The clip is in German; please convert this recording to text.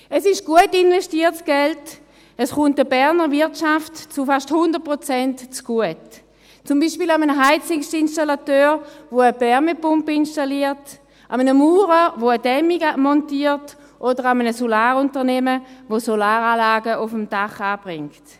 Es ist gut investiertes Geld, es kommt der Berner Wirtschaft zu fast 100 Prozent zugute, zum Beispiel einem Heizungsinstallateur, der eine Wärmepumpe installiert, einem Maurer, der eine Dämmung montiert, oder einem Solarunternehmen, welches Solaranlagen auf einem Dach anbringt.